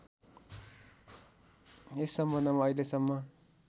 यस सम्बन्धमा अहिलेसम्म